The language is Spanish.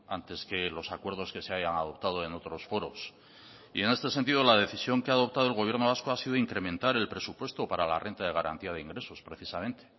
antes que los acuerdos que se hayan adoptado en otros foros y en este sentido la decisión que ha adoptado el gobierno vasco ha sido incrementar el presupuesto para la renta de garantía de ingresos precisamente